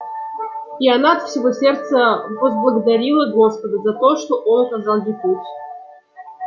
и она от всего сердца возблагодарила господа за то что он указал ей путь